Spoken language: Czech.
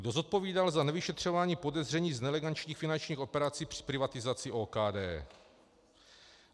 Kdo zodpovídal za nevyšetřování podezření z nelegálních finančních operací při privatizaci OKD.